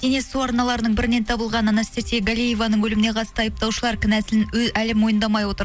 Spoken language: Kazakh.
денесі су арналарының бірінен табылған анастасия галееваның өліміне қатысты айыпталушылар кінәсін әлі мойындамай отыр